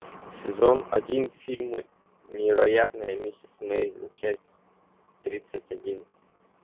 сезон один фильма невероятная миссис мейзел часть тридцать один